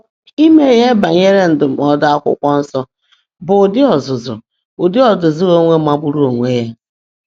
Ime ihe banyere ndụmọdụ Akwụkwọ Nsọ bụ ụdị ọzụzụ ụdị ọzụzụ onwe magburu onwe ya